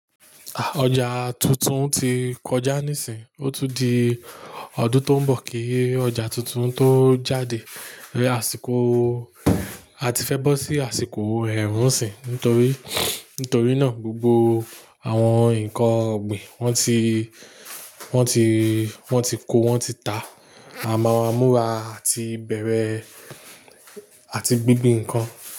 Ah! Ọjà tuntun ti kọjá níìsín, ó tún di ọdún tó ń bọ̀ kí ọjà tuntun tó jáde. Àsìkò, a ti fẹ́ bọ́ sí àsìkò ẹ̀rùnsìn nítorí, nítorí náà gbogbo àwọn nnkan ọ̀gbìn wọ́n ti, wọ́n ti, wọ́n ti kó, wọ́n ti ta. A máa múra àti bẹ̀rẹ̀ àti gbígbín nnkan.